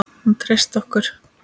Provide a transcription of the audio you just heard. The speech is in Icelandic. Og hún treysti okkur.